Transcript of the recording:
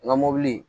N ka mɔbili